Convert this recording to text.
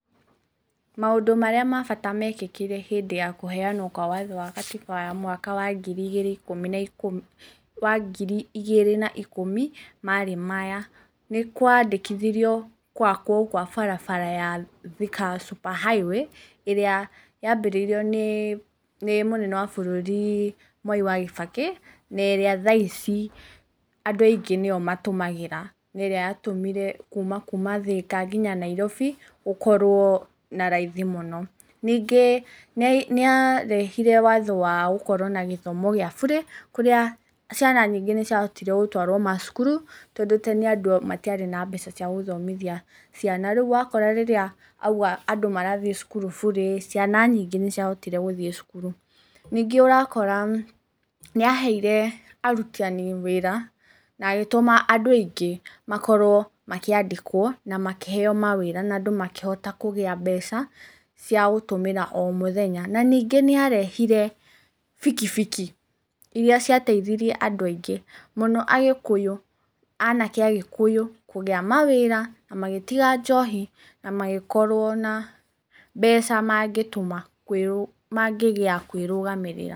Maũndũ marĩa ma bata mekĩkire hĩndĩ ya kũheanwo kwa watho wa gatiba wa mwaka wa ngiri igĩrĩ ikũmi na ikũmi, wa ngiri igĩrĩ na ikũmi, marĩ maya: Nĩkwandĩkithirio gwakwo gwa barabara ya Thika super highway, ĩrĩa yambĩrĩirio nĩ mũnene wa bũrũri Mwai wa kĩbakĩ, na ĩrĩa thaa ici andũ aingĩ nĩyo matũmagĩra na ĩrĩa yatũmire kuma kuma Thĩka nginya Nairobi, gũkorwo na raithi mũno. Ningĩ nĩyarehire watho wa gũkorwo na gĩthomo gĩa burĩ, kũrĩa ciana nyingĩ nĩciahotire gũtwarwo macukuru, tondũ tene andũ matiarĩ na mbeca ciagũthomithia ciana. Rĩu wakora rĩrĩa auga andũ marathiĩ cukuru burĩ, ciana nyingĩ nĩciahotire gũthiĩ cukuru. Ningĩ ũrakora, nĩ aheire arutani wĩra na ĩgĩtũma andũ aingĩ makorwo makĩandĩkwo, na makĩheo mawĩra na andũ makĩhota kũgĩa mbeca cia gũtũmĩra omũthenya, na ningĩ nĩarehire bikibiki iria ciataithirie andũ aingĩ, mũno agĩkũyũ, anake agĩkũyũ kũgĩa mawĩra, na magĩtiga njohi na magĩkorwo na mbeca mangĩgĩa kwĩrũgamĩrĩra.